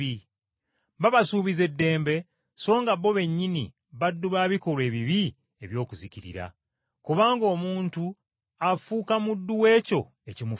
Babasuubiza eddembe, so nga bo bennyini baddu ba bikolwa ebibi eby’okuzikirira. Kubanga omuntu afuuka muddu w’ekyo ekimufuga.